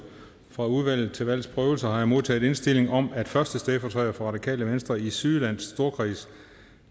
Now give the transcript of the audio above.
fra udvalget til valgs prøvelse har jeg modtaget indstilling om at første stedfortræder for radikale venstre i sydjylland storkreds